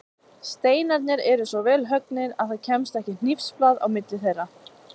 Steinarnir eru svo vel höggnir að það kemst ekki hnífsblað á milli þeirra.